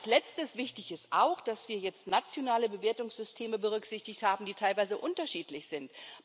Als Letztes Wichtig ist auch, dass wir jetzt nationale Bewertungssysteme berücksichtigt haben, die teilweise unterschiedlich sind.